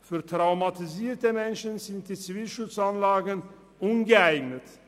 Für traumatisierte Menschen sind die Zivilschutzanlagen ungeeignet.